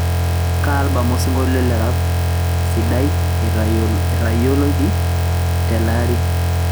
kaa albam osinkolio le rap sidai eitayoki tele aari